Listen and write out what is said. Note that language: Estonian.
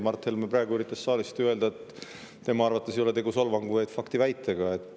Mart Helme praegu üritas saalist ju öelda, et tema arvates ei ole tegu solvangu, vaid faktiväitega.